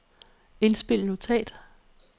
indspil notat